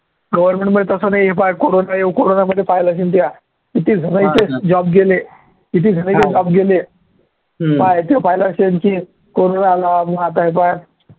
government मध्ये तसं नाहीये, पाह्य कोरोना येऊ कोरोनामध्ये पाहिलं असेल त्या किती जाणांचे job गेले, किती जाणांचे job गेले. पाह्य ते पाहिलं असेल की कोरोना आला